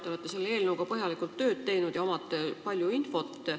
Te olete selle eelnõuga põhjalikult tööd teinud ja omate palju infot.